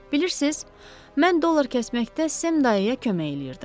Bilirsiz, mən dollar kəsməkdə Sem dayıya kömək eləyirdim.